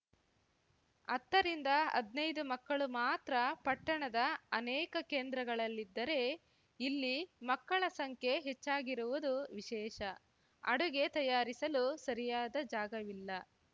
ಅತ್ತರಿಂದ ಅದ್ನೈದು ಮಕ್ಕಳು ಮಾತ್ರ ಪಟ್ಟಣದ ಅನೇಕ ಕೇಂದ್ರಗಳಲ್ಲಿದ್ದರೆ ಇಲ್ಲಿ ಮಕ್ಕಳ ಸಂಖ್ಯೆ ಹೆಚ್ಚಾಗಿರುವುದು ವಿಶೇಷ ಅಡುಗೆ ತಯಾರಿಸಲು ಸರಿಯಾದ ಜಾಗವಿಲ್ಲ